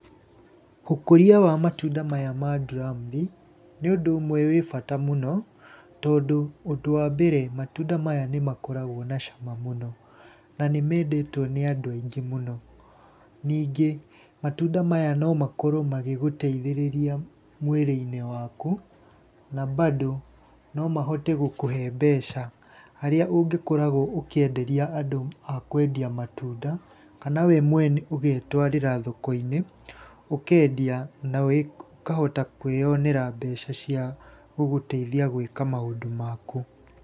Ũkũria wa matunda maya ma nduramuthi, nĩ ũndũ ũmmwe wĩ bata mũno, tondũ ũndũ wa mbere matunda maya nĩ makoragwo na cama mũno, na nĩ mendetwo nĩ andũ aingĩ mũno. Ningĩ matunda maya no makorwo magĩgũteithĩrĩria mwĩríĩ-inĩ waku, na bado no mahote gũkũhe mbeca harĩa ũngĩkoragwo ũkĩenderia andũ a kwendia matunda kana we mwene ũgetwarĩra thoko-inĩ, ũkendia na ũkahota kwĩyonera mbeca cia gũgũteithia gwĩka maũndũ maku.